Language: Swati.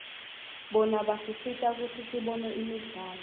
bona basisita kutsi sibone imidlalo